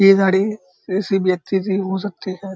ये गाड़ी किसी व्यक्ति की हो सकती है।